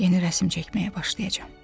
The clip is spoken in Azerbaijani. Yeni rəsm çəkməyə başlayacam.